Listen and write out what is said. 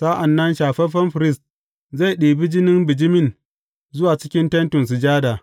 Sa’an nan shafaffen firist zai ɗibi jinin bijimi zuwa cikin Tentin Sujada.